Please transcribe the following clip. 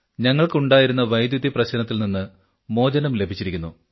ഞങ്ങൾക്ക് ഉണ്ടായിരുന്ന വൈദ്യുതി പ്രശ്നത്തിൽനിന്ന് മോചനം ലഭിച്ചിരിക്കുന്നു